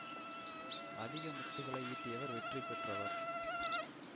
அதிக முத்துக்களை ஈட்டியவர் வெற்றி பெற்றவர்